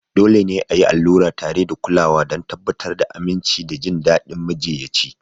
Dole ne a yi allura tare da kulawa don tabbatar da aminci da jin daɗin majiyyaci.